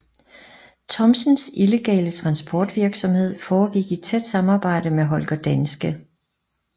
Thomsens illegale transportvirksomhed foregik i tæt samarbejde med Holger Danske